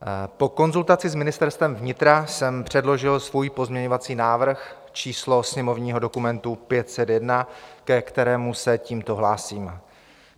Po konzultaci s Ministerstvem vnitra jsem předložil svůj pozměňovací návrh, číslo sněmovního dokumentu 501, ke kterému se tímto hlásím.